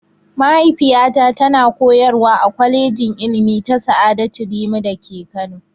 Mahaifiyata ta na koyarwa a kwalejin ilimi ta sa'adatu rimi da ke Kano